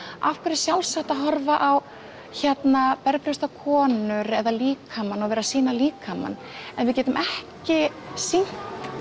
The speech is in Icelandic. af hverju er sjálfsagt að horfa á konur eða líkamann og sýna líkamann en við getum ekki sýnt